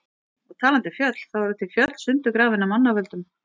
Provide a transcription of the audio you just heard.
Og talandi um fjöll, þá eru til fjöll sundurgrafin af manna völdum.